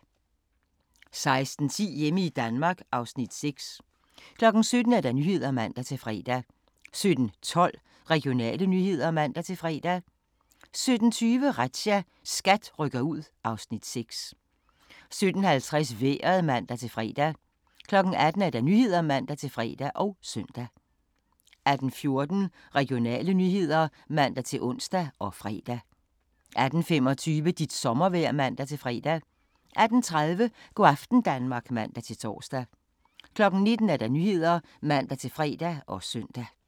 16:10: Hjemme i Danmark (Afs. 6) 17:00: Nyhederne (man-fre) 17:12: Regionale nyheder (man-fre) 17:20: Razzia – SKAT rykker ud (Afs. 6) 17:50: Vejret (man-fre) 18:00: Nyhederne (man-fre og søn) 18:14: Regionale nyheder (man-ons og fre) 18:25: Dit sommervejr (man-fre) 18:30: Go' aften Danmark (man-tor) 19:00: Nyhederne (man-fre og søn)